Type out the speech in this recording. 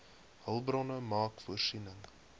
hulpbronne maak voorsiening